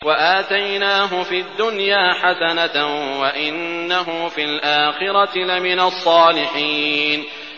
وَآتَيْنَاهُ فِي الدُّنْيَا حَسَنَةً ۖ وَإِنَّهُ فِي الْآخِرَةِ لَمِنَ الصَّالِحِينَ